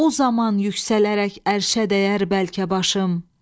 O zaman yüksələrək ərşə dəyər bəlkə başım.